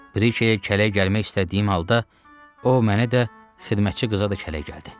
Brije kələk gəlmək istədiyim halda, o mənə də, xidmətçi qıza da kələk gəldi.